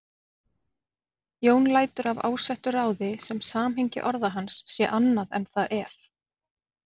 Jón lætur af ásettu ráði sem samhengi orða hans sé annað en það er.